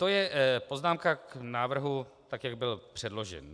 To je poznámka k návrhu tak, jak byl předložen.